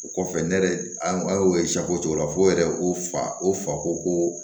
O kɔfɛ ne yɛrɛ an y'o cogo la fo yɛrɛ ko fa o fa ko ko